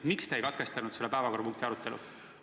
Miks te ei katkestanud päevakorrapunkti arutelu?